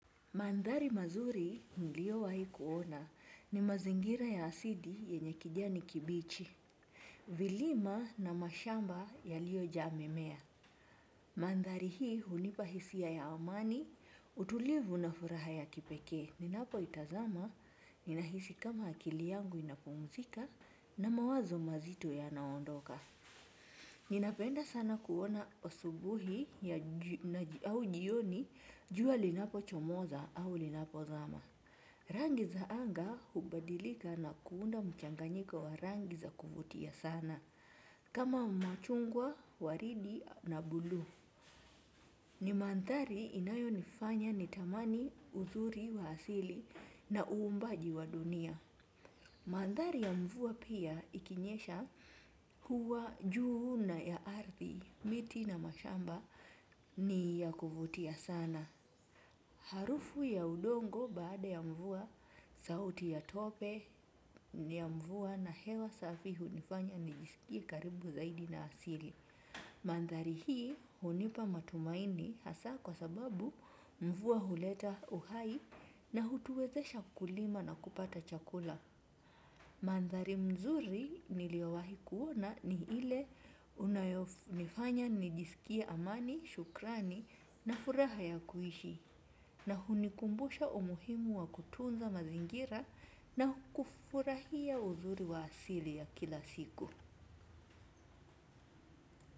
Mandhari mazuri mliyowahi kuona ni mazingira ya asili yenye kijani kibichi. Vilima na mashamba yaliyojaa mimea. Manthari hii hunipa hisia ya amani, utulivu na furaha ya kipekee. Ninapoitazama, ninahisi kama akili yangu inapumzika na mawazo mazito yanaondoka. Ninapenda sana kuona asubuhi au jioni jua linapochomoza au linapozama. Rangi za anga hubadilika na kuunda mchanganyiko wa rangi za kuvutia sana, kama machungwa, waridi na buluu. Ni mandhari inayonifanya nitamani uzuri wa asili na uumbaji wa dunia. Manthari ya mvua pia ikinyesha huwa juu na ya ardhi, miti na mashamba ni ya kuvutia sana. Harufu ya udongo baada ya mvua, sauti ya tope ya mvua na hewa safi hunifanya nijisikie karibu zaidi na asili. Manthari hii hunipa matumaini hasa kwa sababu mvua huleta uhai na hutuwezesha kulima na kupata chakula. Manthari mzuri niliowahi kuona ni ile unayonifanya nijisikie amani, shukrani na furaha ya kuishi. Na hunikumbusha umuhimu wa kutunza mazingira na kufurahia uzuri wa asili ya kila siku.